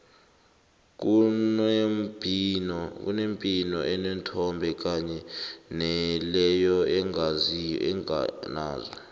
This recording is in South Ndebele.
kunembhino eneenthombe kanye naleyo enganazo